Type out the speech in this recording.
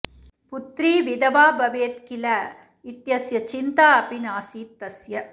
पुत्री विधवा भवेत् किल इत्यस्य चिन्ता अपि नासीत् तस्य